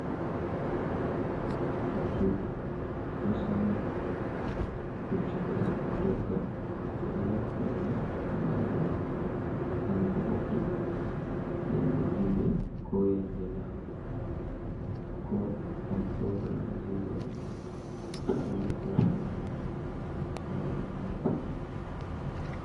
Pucchu ɗo sam na puccu ɗo ɗogga ɓe ɗo naftira ni be majum ngam va’uki yenɗe julɗe ko yenɗe lamu ko ɗon program je waɗuki ɓe ɗo naftira be majum sare lamiɗo.